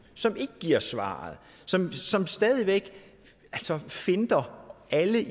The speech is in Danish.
som ikke giver svaret som stadig væk finter alle